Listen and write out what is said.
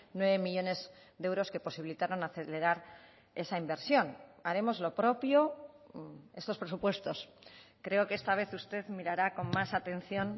nueve millónes de euros que posibilitaron acelerar esa inversión haremos lo propio estos presupuestos creo que esta vez usted mirará con más atención